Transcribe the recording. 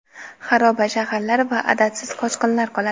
xaroba shaharlar va adadsiz qochqinlar qoladi.